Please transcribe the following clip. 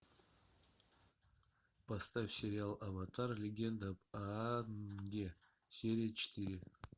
поставь сериал аватар легенда об аанге серия четыре